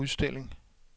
udstilling